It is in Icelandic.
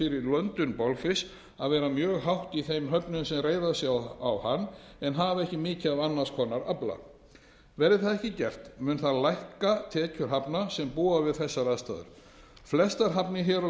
löndun bolfisks að vera mjög hátt í þeim höfnum sem reiða sig á hann en hafa ekki mikið af annars konar afla verði það ekki gert mun það lækka tekjur hafna sem búa við þessar aðstæður flestar hafnir hér á